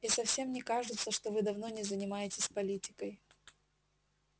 и совсем не кажется что вы давно не занимаетесь политикой